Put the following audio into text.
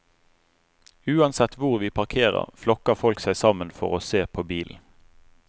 Uansett hvor vi parkerer, flokker folk seg sammen for å se på bilen.